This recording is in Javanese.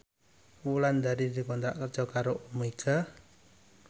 Wulandari dikontrak kerja karo Omega